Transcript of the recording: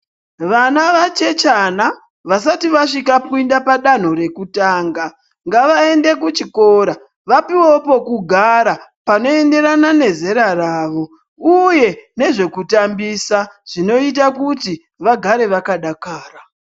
Vana vachechana vasati vasvika kuenda padanho rekutanga ngavaende kuchikora vapiwewo pekugara Panoenderana nezera rawo uye nezvekutambusa zvinoita kuti vagare vakadara.